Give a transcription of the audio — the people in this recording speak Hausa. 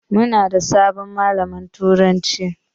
Muna da sabon malamin turanci.